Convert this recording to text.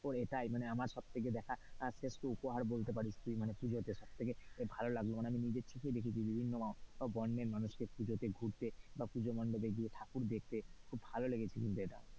ও এটাই আমার সব থেকে দেখা শ্রেষ্ঠ উপহার বলতে পারিস তুই মানে পুজোতে সব থেকে ভালো লাগলো, মানে আমি নিজের চোখে দেখেছি বিভিন্ন সব বর্ণের মানুষকে পুজোতে ঘুরতে বা পূজা মন্ডপে গিয়ে ঠাকুর দেখতে খুব ভালো লেগেছে কিন্তু এটা।